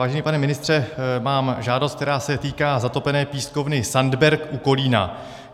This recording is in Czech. Vážený pane ministře, mám žádost, která se týká zatopené pískovny Sandberk u Kolína.